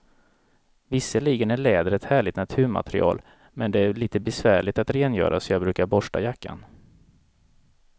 Visserligen är läder ett härligt naturmaterial, men det är lite besvärligt att rengöra, så jag brukar borsta jackan.